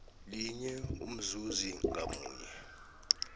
linye umzuzi ngamunye